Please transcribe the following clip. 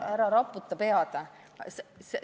Ära raputa pead!